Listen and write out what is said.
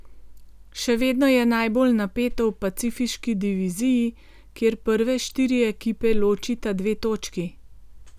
Še vedno je najbolj napeto v Pacifiški diviziji, kjer prve štiri ekipe ločita dve točki.